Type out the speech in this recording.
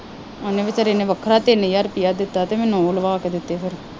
ਉਹਨੇ ਬੇਚਾਰੇ ਨੇ ਵੱਖਰਾ ਤਿੰਨ ਹਜ਼ਾਰ ਰੁਪਇਆ ਦਿੱਤਾ ਅਤੇ ਮੈਨੂੰ ਉਹ ਲਵਾ ਕੇ ਦਿੱਤੇ ਫੇਰ